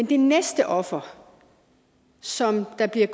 det næste offer som der bliver